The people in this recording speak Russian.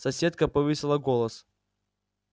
соседка повысила голос